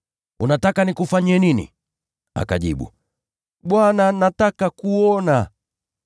“Unataka nikufanyie nini?” Akajibu, “Bwana, nataka kuona.”